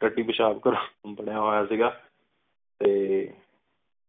ਤੱਤੀ ਪੇਸ਼ਾਬ ਕਰ ਬਣਿਆ ਹੋਯਾ ਸੀਗਾ ਤੇ